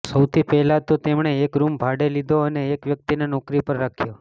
સૌથી પહેલાં તો તેમણે એક રૂમ ભાડે લીધો અને એક વ્યક્તિને નોકરી પર રાખ્યો